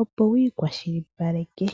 opo wiikwashilipaleke.